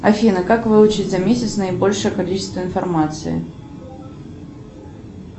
афина как выучить за месяц наибольшее количество информации